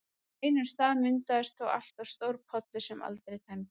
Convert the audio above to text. Á einum stað myndaðist þó alltaf stór pollur sem aldrei tæmdist.